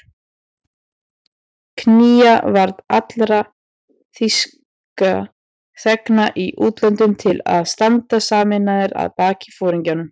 Knýja varð alla þýska þegna í útlöndum til að standa sameinaðir að baki foringjanum